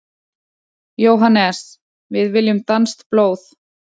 JÓHANNES: Við viljum danskt blóð!